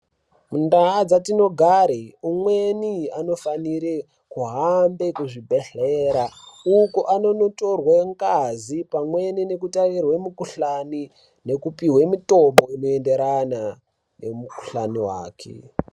Kundau dzatinogara umweni unofanire kuhambe zvibhedhlera uko anondotorwe ngazi pamwe nekutarirwe mikhuhlani nekupuwe mutombo unoenderana nemukhuhlani wake.